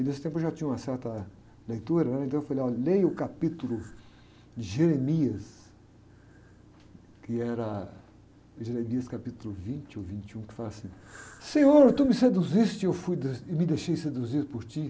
E nesse tempo eu já tinha uma certa leitura, né? Então eu falei, olha, leia o capítulo de Jeremias, que era Jeremias capítulo vinte ou vinte e um, que fala assim, Senhor, tu me seduziste e eu fui, e me deixei seduzir por ti.